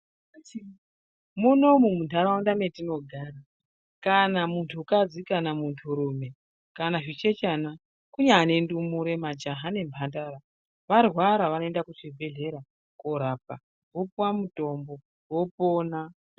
Munomu muntaraunda metinogara kana muntukadzi kana munturume kana zvichechana kunyane ndumure, majaha nemhandara, varwara vanoenda kuzvibhedhlera korapwa. Vopuwa mutombo, vopona.